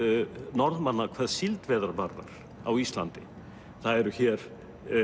Norðmanna hvað síldveiðar varðar á Íslandi það eru hér